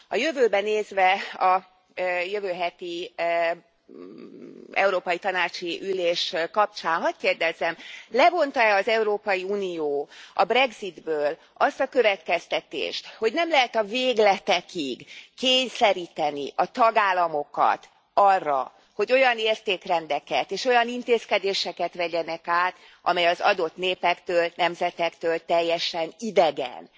A jövőbe nézve, a jövő heti európai tanácsi ülés kapcsán hadd kérdezzem Levonta e az Európai Unió a brexitből azt a következtetést, hogy nem lehet a végletekig kényszeríteni a tagállamokat arra, hogy olyan értékrendeket és olyan intézkedéseket vegyenek át, amelyek az adott népektől, nemzetektől teljesen idegenek?